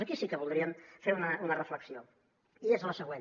aquí sí que voldríem fer una reflexió i és la següent